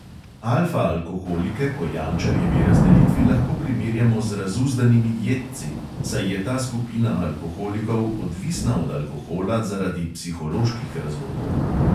Alfa alkoholike po jančarjevi razdelitvi lahko primerjamo z razuzdanimi jedci, saj je ta skupina alkoholikov odvisna od alkohola zaradi psiholoških razlogov.